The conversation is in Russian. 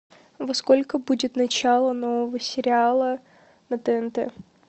во сколько будет начало нового сериала на тнт